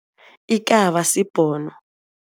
Ikaba sibhono.